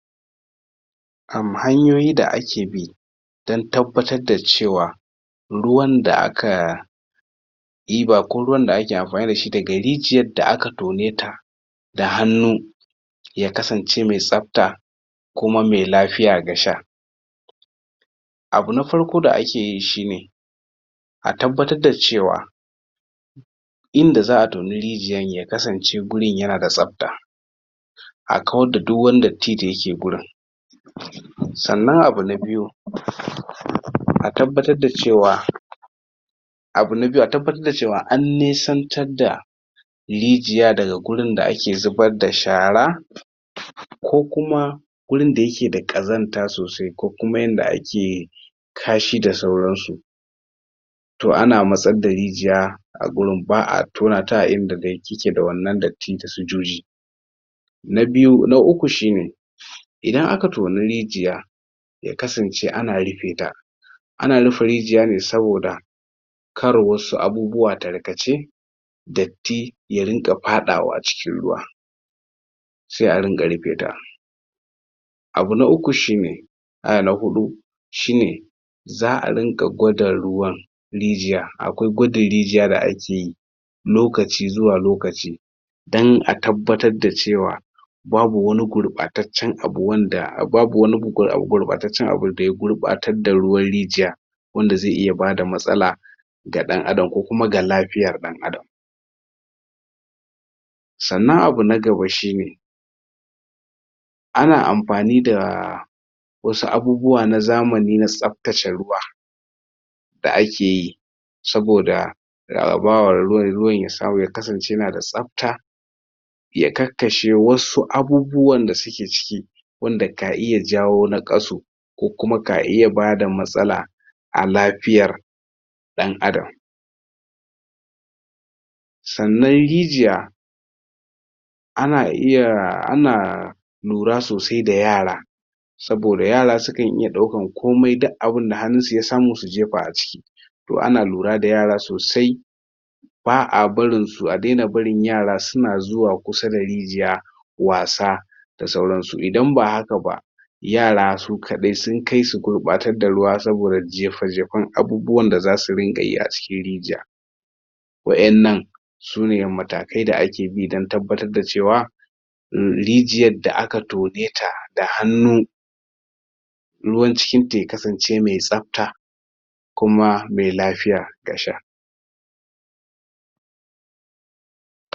Erm hanƴoyi da a ke bi dan tabattar da cewa ruwan da a ka ɗiba ko ruwan da ake amfani da shi da ga rijiyar da a ka tone ta da hannu ya kasance mai sabta kuma mai lafiya ga sha abu na farko da a ke yi shi ne a tabattar da cewa inda zaa tona rijiyar ya kasance gurin ya na da sabta a kawar da duk wani datti da ya ke gurin sannan abu na biyu a tabbatar da cewa abu na biyu, a tabbatar da cewa an nesantar da rijiya da ga gurin da ake zubar da shara ko kuma gurin da ya ke da kazanta sosai ko kuma yanda a ke kashi da sauran su Toh a na matsar da rijiya a gurin, baa tona ta a inda zai? da wannan datti da sojojji na biyu, na uku shi ne idan a ka tonu rijiya ya kasance a na rufe ta A na rufe rijiya ne saboda kar wassau abubuwa tarkacce datti ya ringa fadawa cikin ruwa sai a ringa rufe ta abu na uku shi ne aya na huddu shi ne zaa ringa gwada ruwan rijiya, akwai gwada rijiya da a ke yi lokaci zuwa lokaci dan a tabbatar da cewa babu wani gugura gurbataccen abun da ya gurbatar da ruwan rijiya wanda zai iya ba da matsala ga dan adam ko kuma ga lafiyar dan adam Tsannan abu na gaba shi ne ana amfani da wassu abubuwa na zamani na sabtacce ruwa da a ke yi saboda ga bawar ruwan, ruwan ya samu ya kasance ya na da sabta, ya ka kashe dai wasu abubuwan da su ke ciki wanda ka hin ya jawo na kaso ko kuma ka hin ya ba da matsala a lafiyar dan adam tsannan rijiya a na iya a na lura sosai da yara saboda yara su kan iya daukan komai duk abunda hanun su ya samu su jefa a ciki toh a na lura da yara sosai, baa barin su, a daina barin yara su na zuwa kusa da rijiya wassa da sauransu idan ba haka ba yara su kadai sun kai su gurbatar da ruwa saboda jefa-jefan abubuwar da za su ringa yi a cikin rijiya waƴannan su ne matakai da a ke bi dan tabattar da cewa rijiyar da a ka tone ta da hannu ruwar cikin ta ya kasance mai sabta kuma mai lafiya ga sha.